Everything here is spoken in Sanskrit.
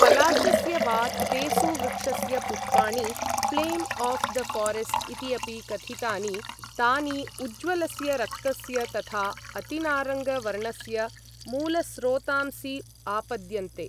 पलाशस्य वा तेसु वृक्षस्य पुष्पाणि, ऴ्लेम् ओऴ् द ऴारेस्ट् इति अपि कथितानि, तानि उज्वलस्य रक्तस्य तथा अतिनारङ्ग वर्णस्य मूलस्रोतांसि आपद्यन्ते।